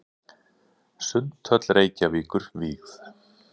Sundhöll Reykjavíkur vígð.